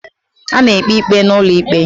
A na-ekpe ikpe n'ulo ikpe